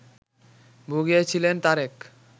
ভুগিয়েছিলেন Tarique